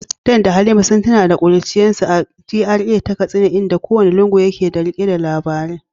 Dan da Halima sun tuno da kuruciyarsu a GRA ta Katsina, inda kowane lungu yake rike da labari.